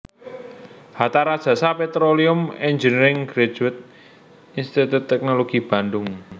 Hatta Rajasa Petroleum Engineering Graduate Institut Teknologi Bandung